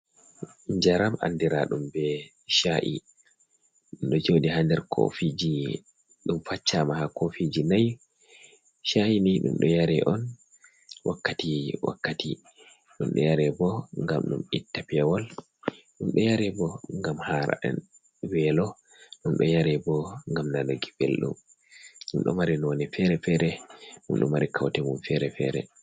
Jaram andira ɗum be cha’i dumdo jodi ha nder kofiji dum faccama ha kofiji nay, cha'i ni ɗum ɗo yare on wakkati wakkati, ɗum ɗo yare bo gam ɗum itta pewol ɗum ɗo yare bo gam hara’en welo, ɗum do yare bo gam nanuki belɗum, ɗum ɗo mari none feere-feere mum ɗo mari kaute mum fere-fere